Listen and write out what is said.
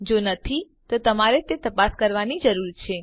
જો નથી તો તમારે તે તપાસ કરવાની જરૂર છે